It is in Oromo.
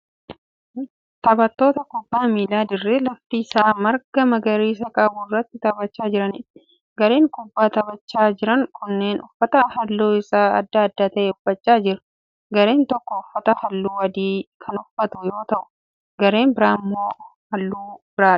Taphattoota kubbaa miilaa dirree lafti isaa marga magariisa qabu irratti taphachaa jiraniidha. Gareen kubbaa taphachaa jiran kunneen uffata halluun isaa adda adda ta'e uffachaa jiru. Gareen tokko uffata halluu adii kan uffatu yoo ta'u gareen biraa halluu biraadha.